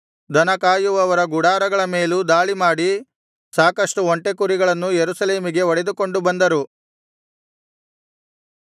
ದನ ಕಾಯುವವರ ಗುಡಾರಗಳ ಮೇಲೂ ದಾಳಿಮಾಡಿ ಸಾಕಷ್ಟು ಒಂಟೆ ಕುರಿಗಳನ್ನು ಯೆರೂಸಲೇಮಿಗೆ ಹೊಡೆದುಕೊಂಡು ಬಂದರು